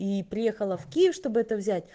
и приехала в киев чтобы это взять